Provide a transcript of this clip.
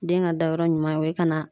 Den ka dayɔrɔ ɲuman o ye ka na